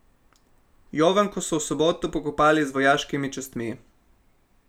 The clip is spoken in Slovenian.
Jovanko so v soboto pokopali z vojaškimi častmi.